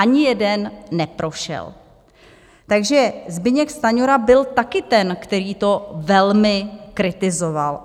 Ani jeden neprošel, takže Zbyněk Stanjura byl taky ten, který to velmi kritizoval.